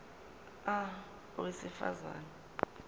a owesifaz ane